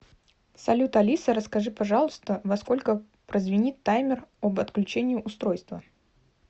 салют алиса расскажи пожалуйста во сколько прозвенит таймер об отключении устройства